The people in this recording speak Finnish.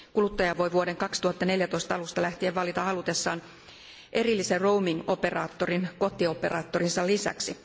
Kuluttaja voi vuoden 2014 alusta lähtien valita halutessaan erillisen roaming operaattorin kotioperaattorinsa lisäksi.